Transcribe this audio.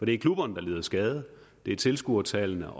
det er klubberne der lider skade det er tilskuertallene